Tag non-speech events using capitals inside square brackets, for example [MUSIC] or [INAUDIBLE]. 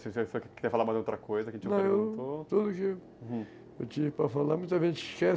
[UNINTELLIGIBLE] quiser falar mais de outra coisa que a gente já perguntou...Não, tudo que eu tive para falar, muita [UNINTELLIGIBLE] esquece, né?